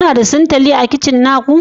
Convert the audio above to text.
Kuna da sintali a kicin na ku?